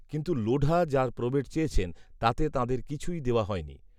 কিন্তু লোঢা যার প্রবেট চেয়েছেন তাতে তাঁদের কিছুই দেওয়া হয়নি